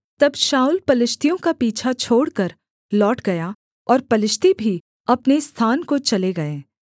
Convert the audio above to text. तब शाऊल पलिश्तियों का पीछा छोड़कर लौट गया और पलिश्ती भी अपने स्थान को चले गए